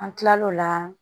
An kilal'o la